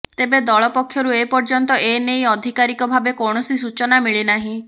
ତେବେ ଦଳ ପକ୍ଷରୁ ଏପର୍ଯ୍ୟନ୍ତ ଏ ନେଇ ଅଧିକାରୀକ ଭାବେ କୌଣସି ସୂଚନା ମିଳିନାହିଁ